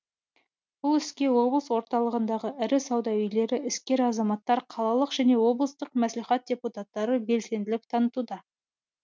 бұл іске облыс орталығындағы ірі сауда үйлері іскер азаматтар қалалық және облыстық мәслихат депутаттары белсенділік танытуда